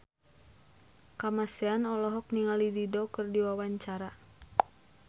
Kamasean olohok ningali Dido keur diwawancara